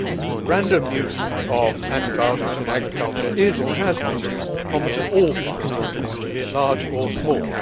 The random use of antibiotics in agriculture is or has been common to all farming, be it large or small.